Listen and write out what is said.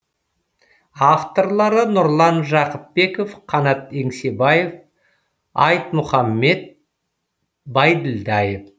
авторлары нұрлан жақыпбеков қанат еңсебаев айтмұхаммед байділдаев